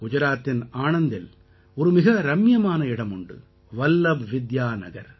குஜராத்தின் ஆணந்தில் ஒரு மிக ரம்மியமான இடம் உண்டு வல்லப் வித்யாநகர்